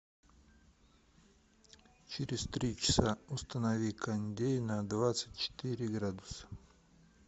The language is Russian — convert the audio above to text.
через три часа установи кондей на двадцать четыре градуса